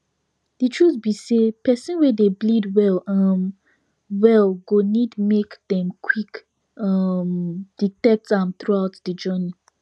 the truth be say persin wey dey bleed well um well go need make dem qik um detect am throughout the journey